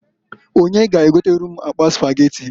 Onye g'egotere m akpa Spageti?